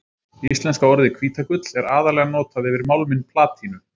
Íslenska orðið hvítagull er aðallega notað yfir málminn platínu.